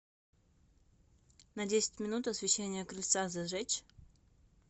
на десять минут освещение крыльца зажечь